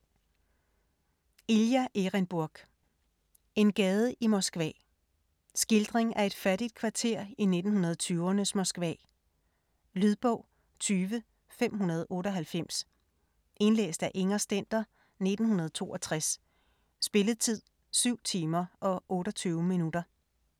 Erenburg, Ilja: En gade i Moskva Skildring af et fattigt kvarter i 1920'rnes Moskva. Lydbog 20598 Indlæst af Inger Stender, 1962. Spilletid: 7 timer, 28 minutter.